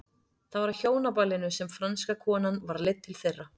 Það var á hjónaballinu sem franska konan var leidd til þeirra.